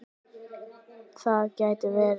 Það gæti verið